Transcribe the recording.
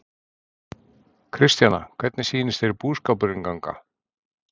Kristjana, hvernig sýnist þér búskapurinn ganga?